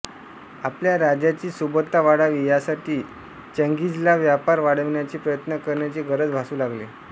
आपल्या राज्याची सुबत्ता वाढावी यासाठी चंगीझला व्यापार वाढविण्याचे प्रयत्न करण्याची गरज भासू लागली